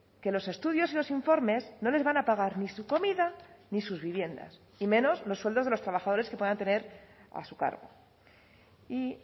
que los estudios y los informes no les van a pagar ni su comida ni sus viviendas y menos los sueldos de los trabajadores que puedan tener a su cargo y